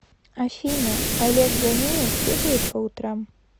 афина олег ганеев бегает по утрам